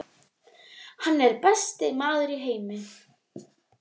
Hann er besti maður í heimi.